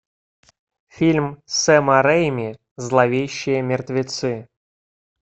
фильм сэма рейми зловещие мертвецы